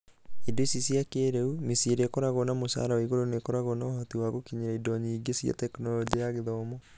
Indo ici cia kĩrĩu, mĩciĩ ĩrĩa ĩkĩraguo na mũcara wa igũrũ nĩkoragũo na ũhoti wa gũkinyĩra indo nyingĩ cia Tekinoronjĩ ya Gĩthomo.